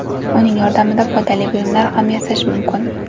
Uning yordamida foydali buyumlar ham yasash mumkin.